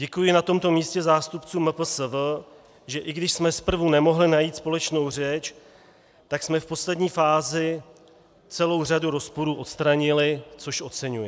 Děkuji na tomto místě zástupcům MPSV, že i když jsme zprvu nemohli najít společnou řeč, tak jsme v poslední fázi celou řadu rozporů odstranili, což oceňuji.